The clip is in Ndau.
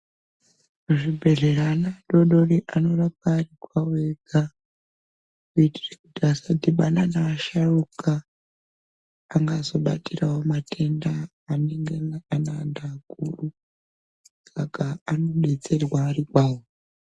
Muzvibhehlera ana adodori anorapwa ari kwavo ega veita kuti vasadhibhana neasharuka angazobatirawo matenda anenge ane antu akuru, saka anodetserwa ari kwavo.